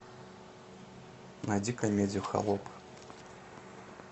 найди комедию холоп